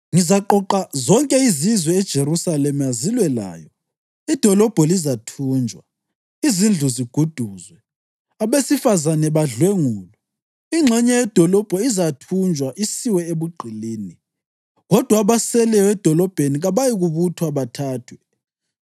Ngizaqoqa zonke izizwe eJerusalema zilwe layo, idolobho lizathunjwa, izindlu ziguduzwe, abesifazane badlwengulwe. Ingxenye yedolobho izathunjwa isiwe ebugqilini, kodwa abaseleyo edolobheni kabayikubuthwa bathathwe.